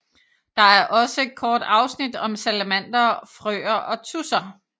Der er også et kort afsnit om salamandere og frøer og tudser